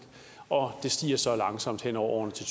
og det stiger så langsomt hen over årene til